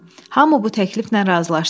Hamı bu təkliflə razılaşdı.